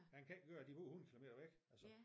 Han kan ikke køre det kun 8 kilometer væk altså